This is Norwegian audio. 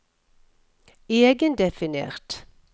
egendefinert